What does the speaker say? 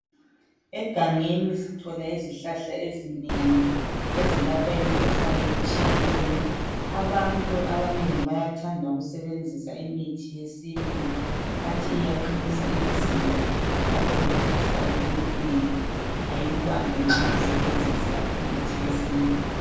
Egangeni sithola izihlahla ezinengi ezelapha imikhuhlane etshiyeneyo .Abantu abanengi bayathanda ukusebenzisa imithi yesintu bathi Iyaqinisa imizimba .Njalo imikhuhlane eminengi ayikubambi nxa usebenzisa imithi yesintu .